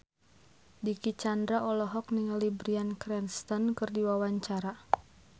Dicky Chandra olohok ningali Bryan Cranston keur diwawancara